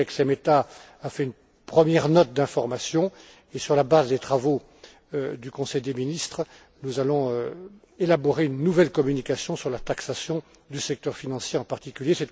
Mon collègue Algirdas Šemeta a fait une première note d'information et, sur la base des travaux du Conseil des ministres, nous allons élaborer une nouvelle communication sur la taxation du secteur financier en particulier.